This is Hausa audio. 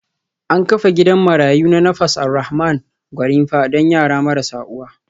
An kafa gidan marayu na Nafas Alrahman Gwarinpa don yara marasa uwa